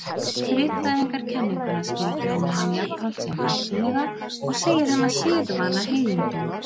Friðþægingarkenninguna skilgreinir hann jafnframt sem hættulega og segir hana siðvana heiðindóm.